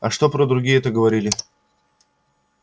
а что про другие это говорили